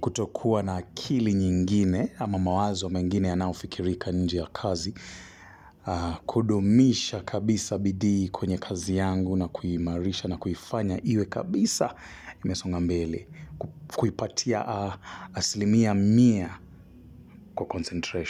kutokuwa na akili nyingine, ama mawazo mengine ya nayo fikirika nje ya kazi, kudumisha kabisa bidii kwenye kazi yangu na kuimarisha na kuifanya iwe kabisa imesonga mbele, kuipatia asilimia mia kwa concentration.